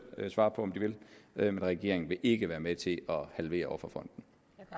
svare på om de vil men regeringen vil ikke være med til at halvere offerfonden